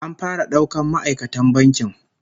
An fara daukan ma'aikatan bankin